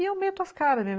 E eu meto as caras mesmo.